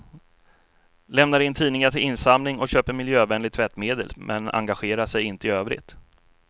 Lämnar in tidningar till insamling och köper miljövänligt tvättmedel men engagerar sig inte i övrigt.